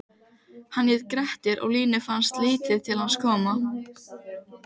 Hann hét Grettir og Línu fannst lítið til hans koma